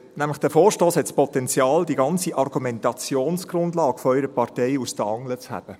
Dieser Vorstoss hat nämlich das Potenzial, die ganze Argumentationsgrundlage Ihrer Partei aus den Angeln zu heben.